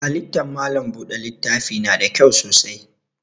Halittan malam buɗe littafi na da kyau sosai.